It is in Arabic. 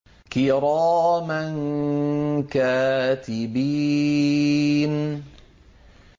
كِرَامًا كَاتِبِينَ